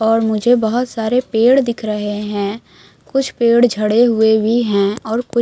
और मुझे बहुत सारे पेड़ दिख रहे हैं कुछ पेड़ झड़े हुए भी हैं और कुछ--